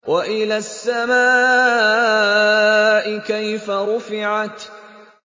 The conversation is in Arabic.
وَإِلَى السَّمَاءِ كَيْفَ رُفِعَتْ